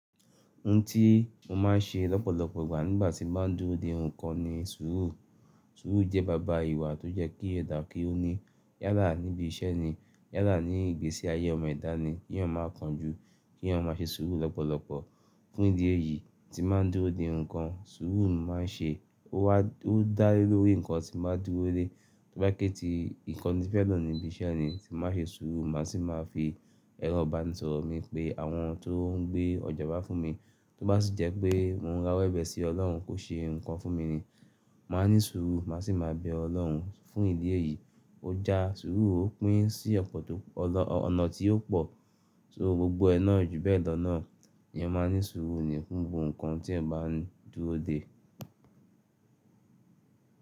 Ohun tí mo máa ń ṣe lọ́pọ̀lọpọ̀ ìgbà nígbà tí máa ń dúró de nǹkan ni sùúrù. Sùúrù jẹ́ bàbá ìwà tó yẹ kí ẹ̀dà kí ó ní yálà níbi iṣẹ́ ni, yálà ní ìgbésí ayé ọmọ ẹ̀dá ni, kí èèyàn máa kanjú, kí èèyàn máa ṣe sùúrù lọ́pọ̀lọpọ̀. Fun ìdí eyìí tí nba ń dúró de nǹkan, sùúrù ni mo màá ṣe. Ó wa-- ó dá lé lórí nǹkan tí màá dúró de, tó bá jẹ pé ti nǹkan ní fẹ́ lo níbi iṣẹ́ ni tí màá ṣe sùúrù, màá sì máa fi ẹrọ̀ ibanisọ̀rọ̀ mi pé àwọn tó ń gbé ọjà wá fún mi, tó bá sì jẹ́ pé mò ń ràwọ́ ẹbẹ̀ sí ọlọ́run kó ṣe nǹkan fún mi ni, màá ní sùúrù, màá sì máa bẹ ọlọ́run. Fún ìdí èyí, ó já sùúrù ó pín sí ọ̀pọ̀ tó-- ọ̀nà tí ó pò. So gbogbo ẹ náà ju bẹ́ẹ̀ lọ náà, èèyàn máa ní sùúrù ni fún gbogbo nǹkan tí èèyàn bá ń dúró de.